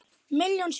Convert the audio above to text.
Milljón sinnum.